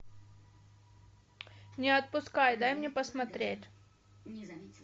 не отпускай дай мне посмотреть